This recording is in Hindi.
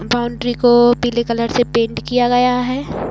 बाउंड्री को पीले कलर से पेंट किया गया है।